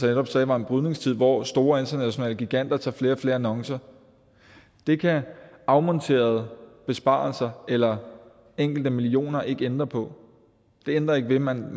netop sagde var en brydningstid hvor store internationale giganter får flere og flere annoncer det kan afmonterede besparelser eller enkelte millioner ikke ændre på det ændrer ikke ved at man